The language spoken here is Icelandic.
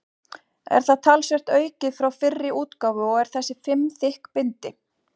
Er það talsvert aukið frá fyrri útgáfu og er þessi fimm þykk bindi.